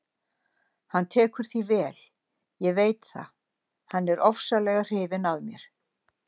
Hann tekur því vel, ég veit það, hann er ofsalega hrifinn af mér.